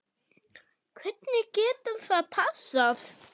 Hvernig getur það passað?